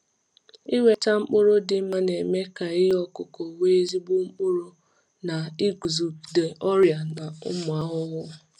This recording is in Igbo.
Ịnweta mkpụrụ dị mma na-eme ka ihe ọkụkụ nwee ezigbo mkpụrụ na iguzogide ọrịa na ụmụ ahụhụ.